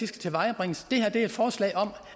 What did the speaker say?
tilvejebringes det her er et forslag om